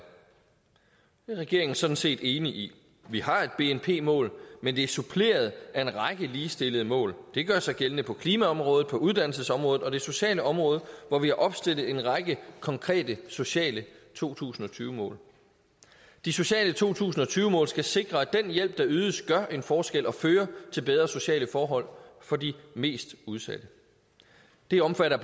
regeringen sådan set enig i vi har et bnp mål men det er suppleret af en række ligestillede mål det gør sig gældende på klimaområdet på uddannelsesområdet og på det sociale område hvor vi har opstillet en række konkrete sociale to tusind og tyve mål de sociale to tusind og tyve mål skal sikre at den hjælp der ydes gør en forskel og fører til bedre sociale forhold for de mest udsatte det omfatter